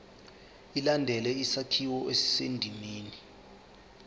ilandele isakhiwo esisendimeni